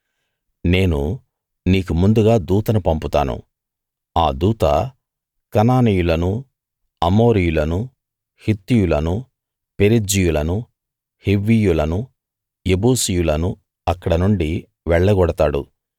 నేను నీకు ముందుగా దూతను పంపుతాను ఆ దూత కనానీయులను అమోరీయులను హిత్తీయులను పెరిజ్జీయులను హివ్వీయులను యెబూసీయులను అక్కడినుండి వెళ్ళగొడతాడు